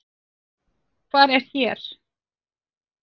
Hvar er hér?